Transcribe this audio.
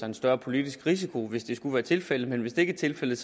en større politisk risiko hvis det skulle være tilfældet men hvis det ikke er tilfældet